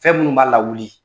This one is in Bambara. Fɛn minnu b'a lawuli